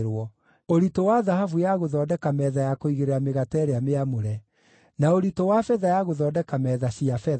ũritũ wa thahabu ya gũthondeka metha ya kũigĩrĩra mĩgate ĩrĩa mĩamũre; na ũritũ wa betha ya gũthondeka metha cia betha;